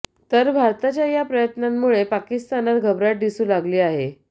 तर भारताच्या या प्रयत्नांमुळे पाकिस्तानात घबराट दिसू लागली आहे